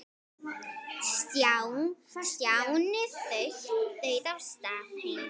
Stjáni þaut af stað heim.